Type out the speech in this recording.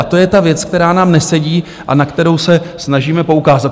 A to je ta věc, která nám nesedí a na kterou se snažíme poukázat.